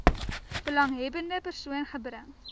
belanghebbende persoon gebring